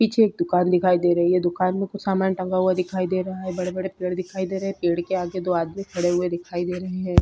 पीछे एक दुकान दिखाई दे रही है दुकान में कुछ सामान टंगा हुआ दिखाई दे रहा है बड़े-बड़े पेड़ दिखाई दे रहे हैं। पेड़ के आगे दो आदमी खड़े हुए दिखाई दे रहे हैं।